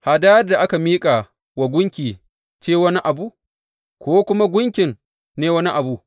Hadayar da aka miƙa wa gunki ce wani abu, ko kuma gunkin ne wani abu?